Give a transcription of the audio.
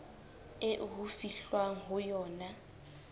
eo ho fihlwang ho yona